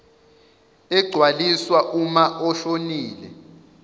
egcwaliswa uma oshonile